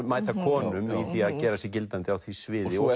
mæta konum í því að gera sig gildandi á því sviði og